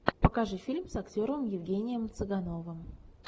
покажи фильм с актером евгением цыгановым